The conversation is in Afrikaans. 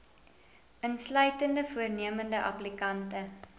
insluitende voornemende applikante